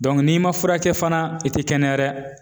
n'i ma furakɛ fana i tɛ kɛnɛya dɛ